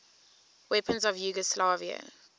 weapons of yugoslavia